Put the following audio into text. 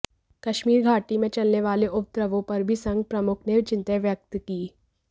कश्मीर घाटी में चलने वाले उपद्रवों पर भी संघ प्रमुख ने चिंता व्यक्त की